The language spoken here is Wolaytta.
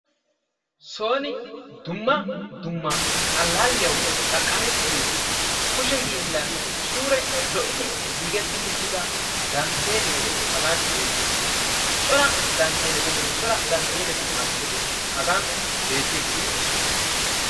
Sooni dumma dumma allaalliyaw xaqamettiyo kushe hillan suure lo"idi giigetti uttida dantteelle hagan beettiiddi de'ees. Cora dantteeelletinne cora dantteeelletu malkketi hagan beettiiddi de'oosona.